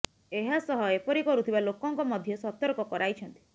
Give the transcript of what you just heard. ଏହା ସହ ଏପରି କରୁଥିବା ଲୋକଙ୍କ ମଧ୍ୟ ସତର୍କ କରାଇଛନ୍ତି